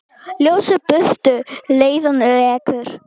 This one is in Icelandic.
Ljósið burtu leiðann rekur.